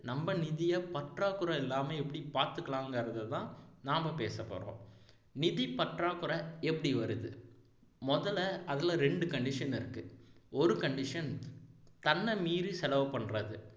நம்ம நிதியை பற்றாக்குறை இல்லாம எப்படி பாத்துக்கலாங்கிறதைதான் நாம பேசப்போறோம் நிதிப்பற்றாக்குறை எப்படி வருது முதல்ல அதுல ரெண்டு condition இருக்கு ஒரு condition தன்னை மீறி செலவு பண்றது